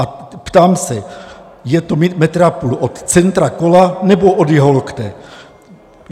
A ptám se, je to metr a půl od centra kola, nebo od jeho lokte?